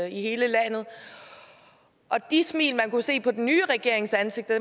i hele landet og de smil man kunne se på den nye regerings ansigter